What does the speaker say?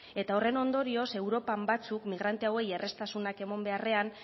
eta horren ondorioz europan batzuk migrante hauei erreztasunak emon beharrean